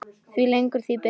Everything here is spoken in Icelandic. Því lengur því betra.